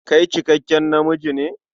Kai cikakken namiji ne?